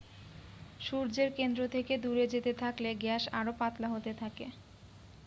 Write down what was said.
সূর্যের কেন্দ্র থেকে দূরে যেতে থাকলে গ্যাস আরও পাতলা হতে থাকে